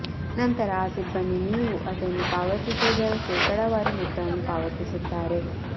ನಂತರ ಆ ಸಿಬ್ಬಂದಿ ನೀವು ಅದನ್ನು ಪಾವತಿಸುವದರ ಶೇಕಡಾವಾರು ಮೊತ್ತವನ್ನು ಪಾವತಿಸುತ್ತಾರೆ